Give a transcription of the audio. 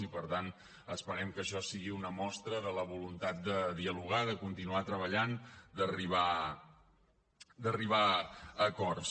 i per tant esperem que això sigui una mostra de la voluntat de dialogar de continuar treballant d’arribar a acords